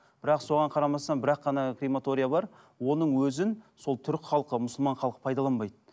бірақ соған қарамастан бір ақ қана крематория бар оның өзін сол түрік халқы мұсылман халқы пайдаланбайды